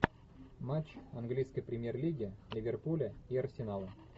матч английской премьер лиги ливерпуля и арсенала